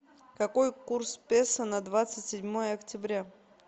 какой курс песо на двадцать седьмое октября